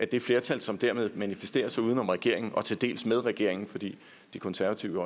det flertal som dermed manifesterer sig uden om regeringen og til dels med regeringen for de konservative